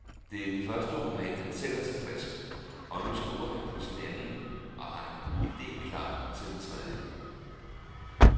Det er den første roman, han selv er tilfreds med, og nu skriver han på sin anden og har en ide klar til den tredje.